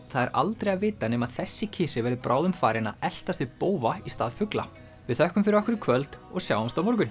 það er aldrei að vita nema þessi kisi verði bráðum farinn að eltast við bófa í stað fugla við þökkum fyrir okkur í kvöld og sjáumst á morgun